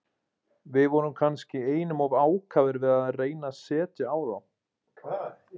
Við vorum kannski einum of ákafir við að reyna að setja á þá.